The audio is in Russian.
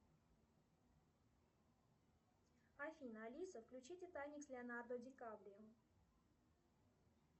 афина алиса включи титаник с леонардо ди каприо